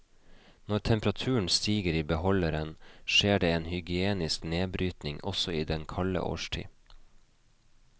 Når temperaturen stiger i beholderen, skjer det en hygienisk nedbrytning, også i den kalde årstid.